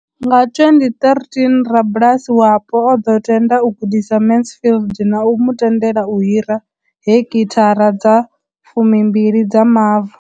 Nga 2013, rabulasi wapo o ḓo tenda u gudisa Mansfield na u mu tendela u hira heki thara dza 12 dza mavu.